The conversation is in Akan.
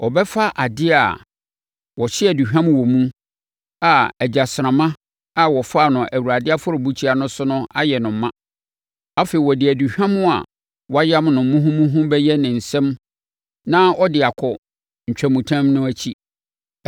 ɔbɛfa adeɛ a wɔhye aduhwam wɔ mu a egyasramma a wɔfaa no Awurade afɔrebukyia no so ayɛ no ma. Afei ɔde aduhwam a wɔayam no muhumuhu bɛyɛ ne nsam na ɔde akɔ ntwamutam no akyi.